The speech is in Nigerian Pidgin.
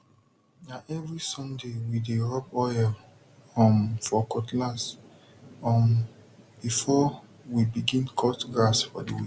na every sunday we dey rub oil um for cutlass um before we begin cut grass for the week